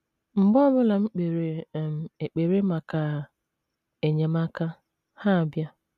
Mgbe ọ bụla m kpere um ekpere maka enyemaka, ha abịa.